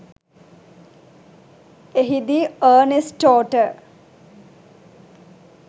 එහිදී අර්නෙස්ටෝට